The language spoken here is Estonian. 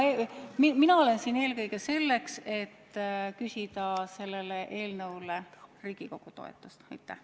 Mina olen siin eelkõige selleks, et küsida sellele eelnõule Riigikogu toetust.